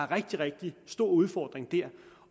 rigtig rigtig stor udfordring der